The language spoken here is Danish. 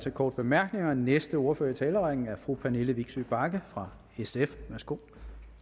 til korte bemærkninger den næste ordfører i talerrækken er fru pernille vigsø bagge fra sf værsgo